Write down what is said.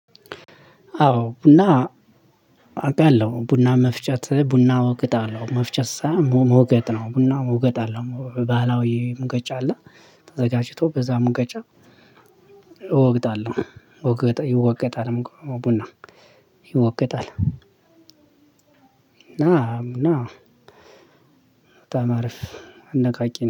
አዎ ቡና አውቃለሁ ቡና መፍጨት ቡና ወቅጣለው መፍጨት ሳይሆን ሞገጥ ነው ቡና ሞገጥ አለው ባህላዊ ሙቀጫ አለ ተዘጋጅቶ በዛ ሙቀጫ እወግጣለሁ። ይወገጣል ቡና ይወገጣል እና። በጣም አሪፍ አነቃቂ